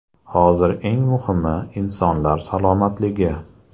Hozir eng muhimi – insonlar salomatligi.